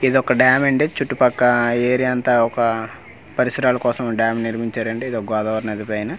ఇదొక్క dam అండి చుట్టూ పక్క ఏరియా అంతా ఒక పరిశ్రల కోసం డ్యామ్ నిర్మించారు అండి ఇది ఓ గోదావరి నది పైన--